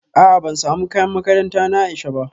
A'a ban samu kayan makaranta na Aisha ba